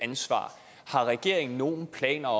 ansvar har regeringen nogen planer